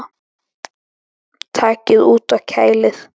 Takið út og kælið.